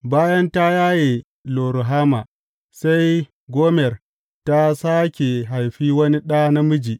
Bayan ta yaye Lo Ruhama, sai Gomer ta sāke haifi wani ɗa namiji.